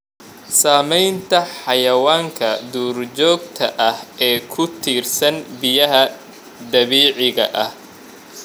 Saamaynta xayawaanka duurjoogta ah ee ku tiirsan biyaha dabiiciga ah.